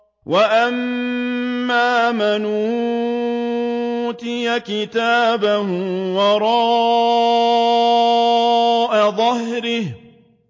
وَأَمَّا مَنْ أُوتِيَ كِتَابَهُ وَرَاءَ ظَهْرِهِ